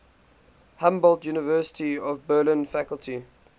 humboldt university of berlin faculty